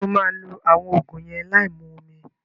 Ṣé o maa lo àwọn Ògùn yẹn láì mu omi